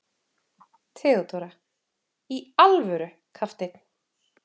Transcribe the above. THEODÓRA: Í alvöru, kafteinn!